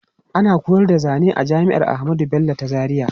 Ana koyar da zane zane a jami'ar Ahmadu Bello ta Zaria.